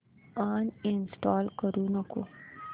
uninstall करू नको